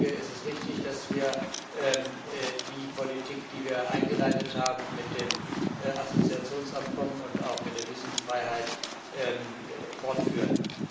Es ist richtig, dass wir die Politik, die wir mit dem Assoziationsabkommen und auch mit der Visumfreiheit eingeleitet haben, fortführen.